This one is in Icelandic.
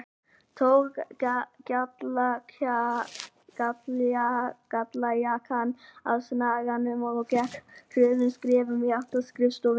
Tók gallajakkann af snaganum og gekk hröðum skrefum í átt að skrifstofunni.